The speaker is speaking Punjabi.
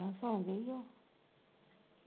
ਮੈਂ ਕਿਹਾ ਸੋ ਗਈ ਆ।